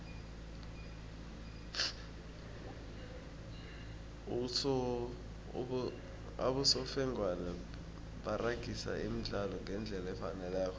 abosofengwana baragisa umdlalo ngendlela efaneleko